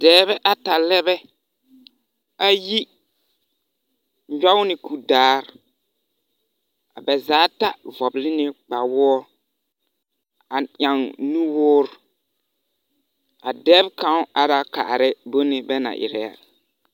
Dͻͻre ata lԑ bԑ. ayi nyͻge la kuri daare. A ba zaa ata vͻgele ne kpawoͻ a eŋ nu woore. A dԑb kaŋ are kaara bone bԑ na erԑԑ a.